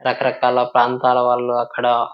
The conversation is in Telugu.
రకరకాల ప్రాంతాల వాళ్ళు అక్కడ --